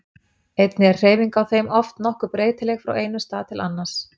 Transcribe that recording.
Einnig er hreyfingin á þeim oft nokkuð breytileg frá einum stað til annars.